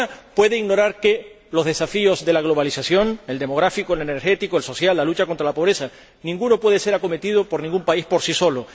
Y ninguna puede ignorar que ninguno de los desafíos de la globalización —el demográfico, el energético, el social y la lucha contra la pobreza— puede ser acometido por ningún país por sí solo.